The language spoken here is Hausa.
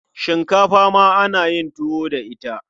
Shinkafa ma ana yin tuwo da ita.